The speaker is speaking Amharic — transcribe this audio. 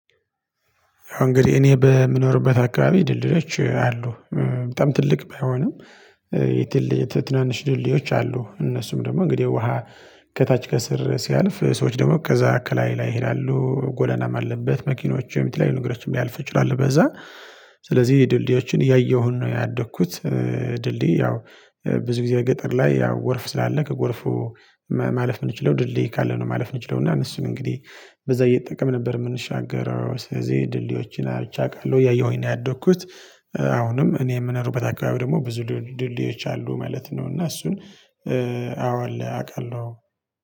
አሁን እንግዲህ እኔ በምኖርበት አካባቢ ድልድዮች አሉ። በጣም ትልቅ ባይሆንም የትልልቅ የትናንሽ ድልዶዮች አሉ እነሱም ደግሞ እንግዲህ ውሃ ከታች ከስር ሲያልፍ ሰዎች ደግሞ ከዛ ከላይ ላይ ይላሉ ጎዳናም አለበት መኪኖችም የተለያዩ ንግሮችም ሊያልፉ ይችላል በዛ ስለዚህ ድልድዮችን እያየሁን ነው ያደግኩት። ድልድይ ያው ብዙ ጊዜ ገጠር ላይ ያው ጎርፍ ስላለ ከጎርፉ ማለፍ የምንችለው ድልድይ ካለ ነው ማለፍ የምንችለው እና እነሱን እንግዲህ በዛ እየተጠቀምን ነበር የምንሻገረው ስለዚህ ድልድዮችን አይቼ አውቃለሁ እያየሁኝ ነው ያደግኩት። አሁንም እኔ የምኖርበት አካባቢ ደግሞ ብዙ ድልድዮች አሉ ማለት ነው። እና እሱን አዎ አለ አውቃለሁ